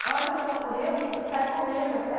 A hora que a minha vó correu, eu saí correndo